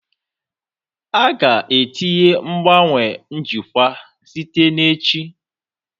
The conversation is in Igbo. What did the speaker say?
A ga-etinye ngbanwe njikwa site na echi